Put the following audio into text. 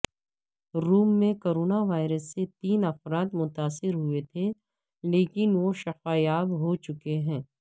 روم میں corona virus سے تین افراد متاثر ہوئے تھے لیکن وہ شفایاب ہوچکے ہیں